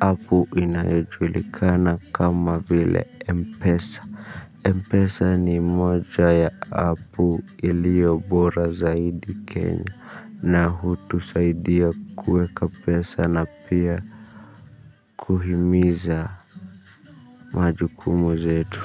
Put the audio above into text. appu inayojulikana kama vile mpesa Mpesa ni moja ya appu iliyo bora zaidi kenya na hutusaidia kuweka pesa na pia kuhimiza majukumu zetu.